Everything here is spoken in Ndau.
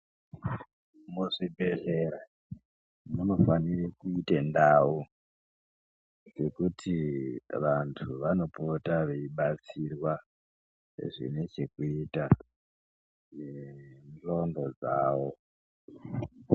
Muzvibhedhlera munofanire kuite ndau dzekuti vantu vanopota veibatsirwa zvinechekuita ee nendxondo dzawo.